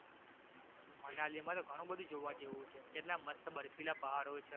મનાલીમાં તો ઘણુ બધુ જોવા જેવુ છે કેટલા મસ્ત બર્ફિલા પહાડો છે